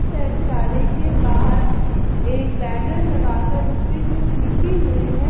शौचालय के बाहर एक बैनर लगा कर उसपे कुछ लिखी हुई है।